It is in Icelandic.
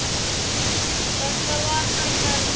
Þetta var hennar mottó.